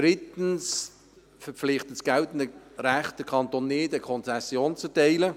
Drittens verpflichtet das geltende Recht den Kanton nicht, eine Konzession zu erteilen.